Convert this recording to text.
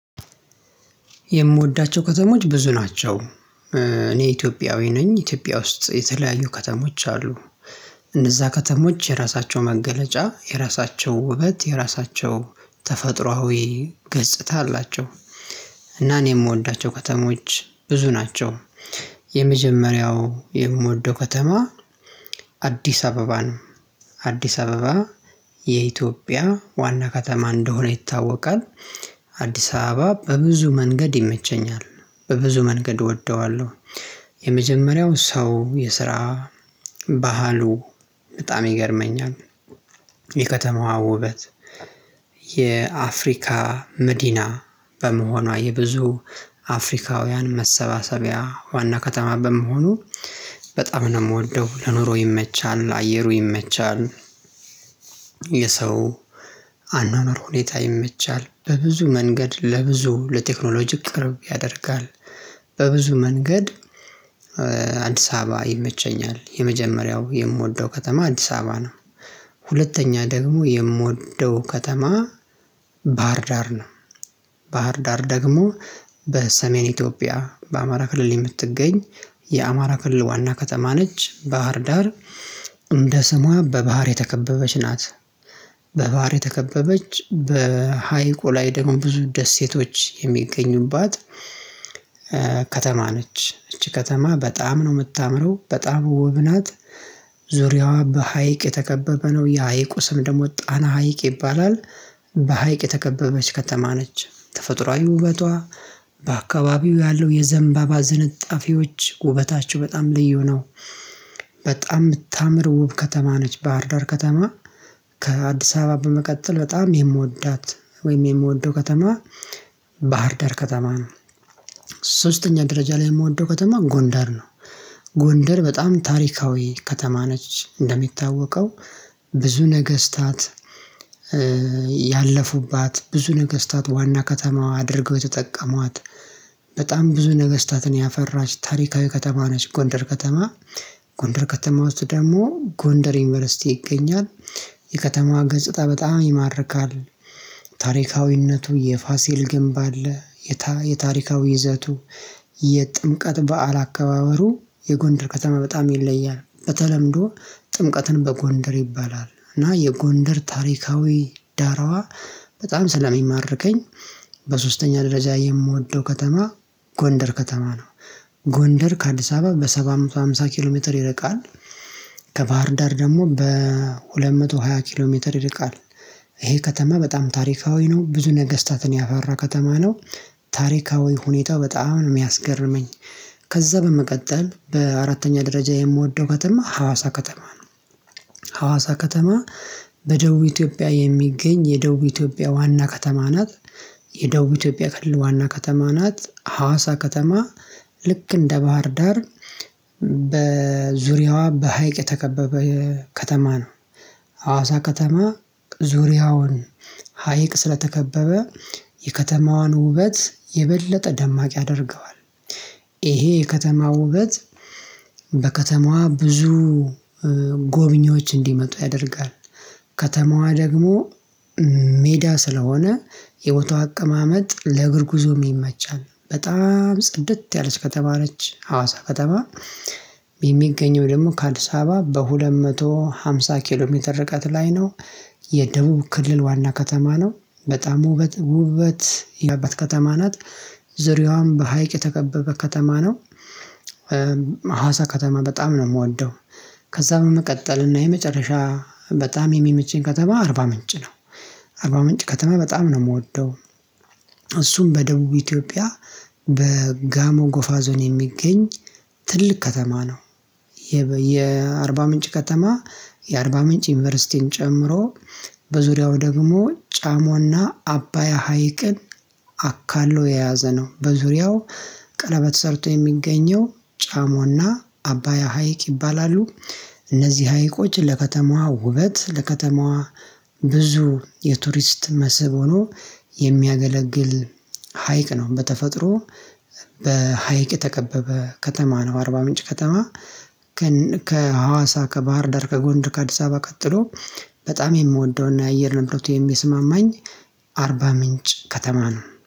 የምወዳቸው ከተሞች ብዙ ናቸው። እኔ ኢትዮጵያዊ ነኝ ኢትዮጵያ ውስጥ የተለያዩ ከተሞች አሉ። እነዛ ከተሞች የራሳቸው መገለጫ የራሳቸው ውበት የራሳቸው ተፈጥሯዊ ገጽታ አላቸው። እና እኔ የምወዳቸው ከተሞች ብዙ ናቸው። የመጀመሪያው የምወደው ከተማ አዲስ አበባ ነው። አዲስ አበባ የኢትዮጵያ ዋና ከተማ እንደሆነ ይታወቃል። አዲስ አበባ በብዙ መንገድ ይመቸኛል በብዙ መንገድ እወደዋለሁ። የመጀመሪያው ሰው የስራ ባህሉ በጣም ይገርመኛል። የከተማዋ ውበት የአፍሪካ መዲና በመሆኗ የብዙ አፍሪካውያን መሰብሰቢያ ዋና ከተማ በመሆኑ በጣም ነው የምወደው ለኑሮ ይመቻል አየሩ ይመቻል። የሰው አኗኗር ሁኔታ ይመቻል በብዙ መንገድ ለብዙ ለቴክኖሎጂ ቅርብ ያደርጋል። በብዙ መንገድ አዲስ አበባ ይመቸኛል የመጀመሪያው የምወደው ከተማ አዲስ አበባ ነው። ሁለተኛ ደግሞ የምወደው ከተማ ባህር ዳር ነው። ባህር ዳር ደግሞ በሰሜን ኢትዮጵያ በአማራ ክልል የምትገኝ የአማራ ክልል ዋና ከተማ ነች ባህር ዳር። እንደ ስሟ በባህር የተከበበች ናት። በባህር የተከበበች በሃይቆ ላይ ደግሞ ብዙ ደሴቶች የሚገኙባት ከተማ ነች። እቺ ከተማ በጣም ነው የምታምረው በጣም ውብ ናት። ዙሪያዋ በሃይቅ የተከበበ ነው የሃይቁ ስም ደግሞ ጣና ሀይቅ ይባላል። በሃይቅ የተከበበች ከተማ ነች ተፈጥሮአዊ ውበቷ በአካባቢው ያለው የዘንባባ ዝንጣፊዎች ውበታቸው በጣም ልዩ ነው። በጣም የምታምር ውብ ከተማ ነች ባህርዳር ከተማ። ከአዲስ አበባ በመቀጠል በጣም የምወዳት ወይም የምወደው ከተማ ባህርዳር ከተማ ነው። ሶስተኛ ደረጃ ላይ የምወደው ከተማ ጎንዳር ነው። ጎንዳር በጣም ታሪካዊ ከተማ ነች እንደሚታወቀው። ብዙ ነገስታት ያለፉባት ብዙ ነገስታት ዋና ከተማ አድርገው የተጠቀሟት። በጣም ብዙ ነገስታትን ያፈራች ታሪካዊ ከተማ ነች ጎንደር ከተማ። ጎንደር ከተማ ውስጥ ደግሞ ጎንደር ዩኒቨርሲቲ ይገኛል። ገጽታ በጣም ይማርካል። ታሪካዊነቱ የፋሲል ግንብ አለ። የታሪካዊ ይዘቱ የጥምቀት በዓል አከባበሩ የጎንደር ከተማ በጣም ይለያል በተለምዶ ጥምቀትን በጎንደር ይባላል እና የጎንደር ታሪካዊ ዳራዋ በጣም ስለሚማርከኝ። በሶስተኛ ደረጃ የምወደው ከተማ ጎንደር ከተማ ነው። ጎንደር ከአዲስ አበባ በሰባት መቶ ሃምሳ ኪሎ ሜትር ይርቃል። ከባህርዳር ደግሞ በሁለት መቶ ሃያ ኪሎ ሜትር ይርቃል። ይሄ ከተማ በጣም ታሪካዊ ነው ብዙ ነገስታትን ያፈራ ከተማ ነው። ታሪካዊ ሁኔታ በጣም ነው የሚያስገርመኝ። ከዛ በመቀጠል በአራተኛ ደረጃ የምወደው ከተማ ሀዋሳ ከተማ ነው። ሀዋሳ ከተማ በደቡብ ኢትዮጵያ የሚገኝ የደቡብ ኢትዮጵያ ዋና ከተማ ናት። የደቡብ ኢትዮጵያ ክልል ዋና ከተማ ናት ሀዋሳ ከተማ። ልክ እንደ ባህር ዳር በዙሪያዋ በሃይቅ የተከበበ ከተማ ነው። ሀዋሳ ከተማ ዙሪያውን ሀይቅ ስለተከበበ የከተማዋን ውበት የበለጠ ደማቅ ያደርገዋል። ይሄ የከተማ ውበት በከተማዋ ብዙ ጎብኚዎች እንዲመጡ ያደርጋል። ከተማዋ ደግሞ ሜዳ ስለሆነ የቦታው አቀማመጥ ለእግር ጉዞም ይመቻል በጣም ጽድት ያለች ከተማ ነች ሀዋሳ ከተማ። የሚገኘው ደግሞ ከአድስ አበባ በሁለት መቶ ሃምሳ ኪሎ ሜትር ርቀት ላይ ነው። የደቡብ ክልል ዋና ከተማ ነው በጣም ውበት ውበት ከተማ ናት። ዙሪያውን በሀይቅ የተከበበ ከተማ ነው። ሀዋሳ ከተማ በጣም ነው የምወደው። ከዛ በመቀጠልና የመጨረሻ በጣም የሚመቸኝ ከተማ አርባ ምንጭ ነው። አርባ ምንጭ ከተማ በጣም ነው የምወደው። እሱም በደቡብ ኢትዮጵያ በጋሞ ጎፋ ዞን የሚገኝ ትልቅ ከተማ ነው። የአርባ ምንጭ ከተማ የአርባ ምንጭ ዩኒቨርሲቲን ጨምሮ በዙሪያው ደግሞ ጫሞና አባያ ሀይቅን አካሎ የያዘ ነው በዙሪያው ቀለበት ሰርቶ የሚገኘው ጫሞና አባያ ሀይቅ ይባላሉ። እነዚህ ሀይቆች ለከተማዋ ውበት ለከተማዋ ብዙ የቱሪስት መስህብ ሆኖ የሚያገለግል ሀይቅ ነው። በተፈጥሮ በሀይቅ የተከበበ ከተማ ነው አርባ ምንጭ ከተማ። ከሀዋሳ ከባህር ዳር ከጎንድ ከአዲስ አበባ ቀጥሎ በጣም የምወደውና የአየር ንብረቱ የሚስማማኝ አርባ ምንጭ ከተማ ነው